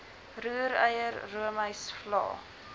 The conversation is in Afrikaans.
roereier roomys vla